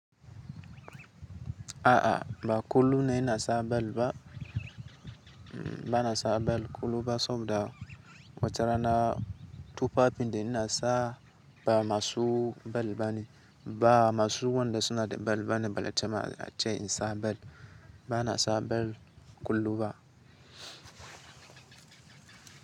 A'a, ba kullum ne ina sa bel lt ba. Ba na sa bel kullum ba saboda wate rana tuffafi da ina sa ba masu bel bane. Ba masu wanda suna da bel bane balle ta ma ace in sa bel. Ba na sa bel kullum ba.